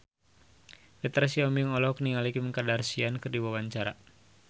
Petra Sihombing olohok ningali Kim Kardashian keur diwawancara